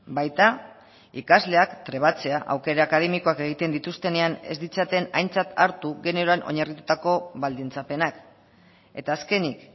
baita ikasleak trebatzea aukera akademikoak egiten dituztenean ez ditzaten aintzat hartu generoan oinarritutako baldintzapenak eta azkenik